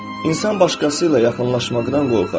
İnsan başqası ilə yaxınlaşmaqdan qorxar.